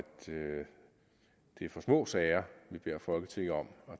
vi for små sager vi beder folketinget om at